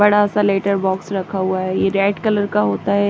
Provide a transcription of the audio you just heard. बड़ा सा letter box रखा हुआ है ये रेड कलर का होता है।